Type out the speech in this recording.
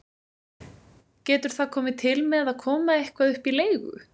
Getur það komið til með að koma eitthvað upp í leigu?